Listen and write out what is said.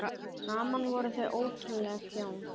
Saman voru þau ótrúleg hjón.